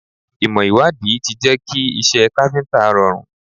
Ìmò ìwádìí ti jẹ́ kí iṣẹ́ káfíntà rọrùn.